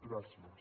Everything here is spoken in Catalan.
gràcies